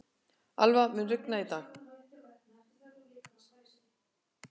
Alva, mun rigna í dag?